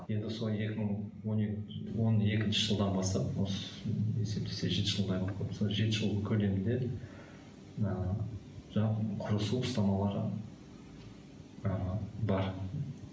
енді сол екі мың он екінші жылдан бастап есептесе жеті жылдай болып қалыпты жеті жыл көлемінде мына жалпы құрысу ұстамалары ы бар